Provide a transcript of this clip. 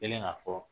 Kɛlen ka fɔ